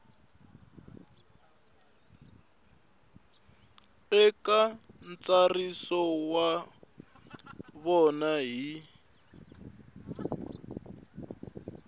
eka ntsariso wa vona hi